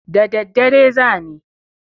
Da daddare za ni.